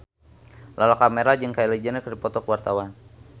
Lala Karmela jeung Kylie Jenner keur dipoto ku wartawan